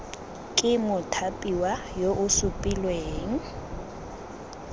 ke mothapiwa yo o supilweng